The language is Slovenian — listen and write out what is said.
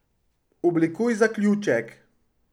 Oblikuj zaključek.